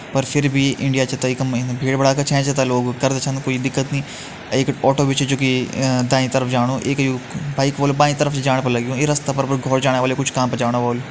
पर फिर भी इंडिया छ भीड़ भड़का छैंछ लोग उतरदा छन कुई दिकत नहीं एक ऑटो भी छ जु कि अ-दाईं तरफ जाणू एक यू बाइक वालू बाईं तरफ छ जाण लग्युं ई रस्ता पर घोर जाण वालू कुछ काम पर जाण वालू।